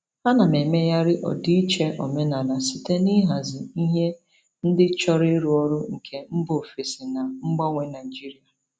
Ana m emegharị ọdịiche omenala site n'ịhazi ihe ndị chọrọ ịrụ ọrụ nke mba ofesi na mgbanwe Nigeria.